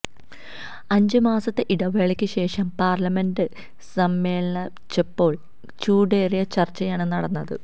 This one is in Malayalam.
അഞ്ച് മാസത്തെ ഇടവേളയ്ക്ക് ശേഷം പാര്ലമെന്റ് സമ്മേളിച്ചപ്പോള് ചൂടേറിയ ചര്ച്ചയാണ് നടന്നത്